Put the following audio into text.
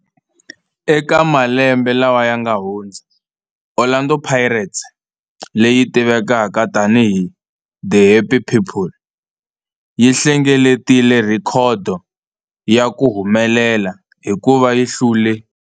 Eka malembe lawa yanga hundza, Orlando Pirates, leyi tivekaka tani hi 'The Happy People', yi hlengeletile rhekhodo ya ku humelela hikuva yi hlule.